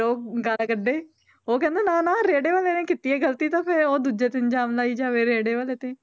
ਉਹ ਗਾਲਾਂ ਕੱਢੇ ਉਹ ਕਹਿੰਦਾ ਨਾ ਨਾ ਰੇੜੇ ਵਾਲੇ ਨੇ ਕੀਤੀ ਹੈ ਗ਼ਲਤੀ ਤਾਂ ਫਿਰ ਉਹ ਦੂਜੇ ਤੇ ਇਲਜ਼ਾਮ ਲਾਈ ਜਾਵੇ ਰੇੜੇ ਵਾਲੇ ਤੇ